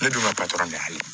Ne dun ka patɔrɔn bɛ hali